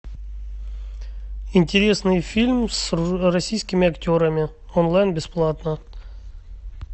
интересный фильм с российскими актерами онлайн бесплатно